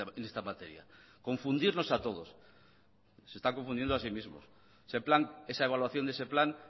en esta materia confundirnos a todos se están confundiendo a sí mismos ese plan esa evaluación de ese plan